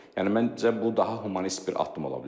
Yəni məncə bu daha humanist bir addım ola bilər.